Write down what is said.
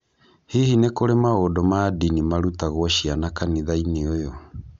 Hihi nĩ kũrĩ maũndũ ma ndini marutagwo ciana kanitha-inĩ ũyũ?